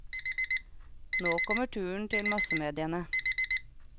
Nå kommer turen til massemediene.